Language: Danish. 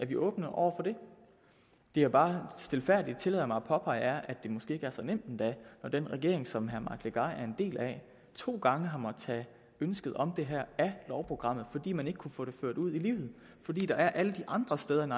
vi åbne over for det det jeg bare stilfærdigt tillader mig at påpege er at det måske ikke er så nemt endda når den regering som herre mike legarth er en del af to gange har måttet tage ønsket om det her af lovprogrammet fordi man ikke kunne få det ført ud i livet fordi der er alle de andre steder end